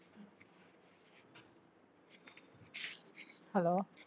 hello